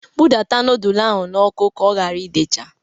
bụdata nudul ahụ n'ọkụ ka ọ hara idecha!